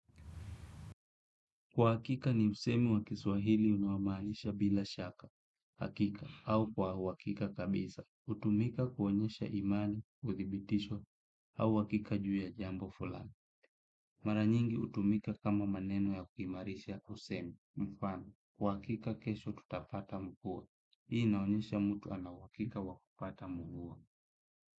Kwa hakika ni msemo wa kiswahili unaomaanisha bila shaka, hakika, au kwa uhakika kabisa, hutumika kuonyesha imani, udhibitisho, au hakika juu ya jambo fulani. Mara nyingi hutumika kama maneno ya kuimarisha kwa usemi, mfano, kwa hakika kesho tutapata mvua, hii inaonyesha mtu ana uhakika wa kupata mvua.